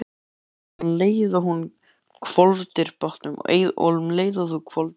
Við hlupum af stað um leið og þú hvolfdir bátnum.